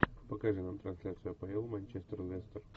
покажи нам трансляцию апл манчестер лестер